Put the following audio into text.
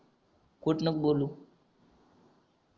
खोटं नको बोलू